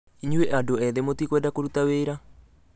Inyuĩ andũ ethĩ mũtikwenda kũrũta wĩra